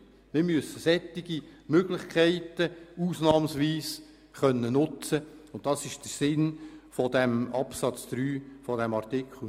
Wir müssen solche Möglichkeiten ausnahmsweise nutzen können, das ist der Sinn des Absatzes 3 von Artikel 9.